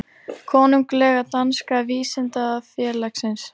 Konunglega danska vísindafélagsins.